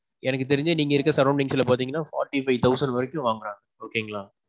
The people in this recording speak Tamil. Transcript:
எனக்கு தெரிஞ்சு நீங்க இருக்குற sorroundings ல பாத்தீங்கன்னா forty five thousand வரைக்கும் வாங்குறாங்க okay ங்களா.